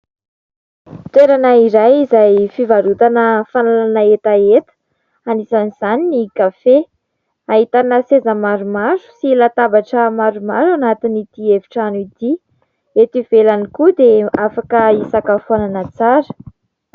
Toerana iray izay fivarotana fanalana hetaheta anisan'izany ny kafe. Ahitana seza maromaro sy latabatra maromaro ao anatin'ity efitrano ity. Eto ivelany koa dia afaka hisakafoana tsara.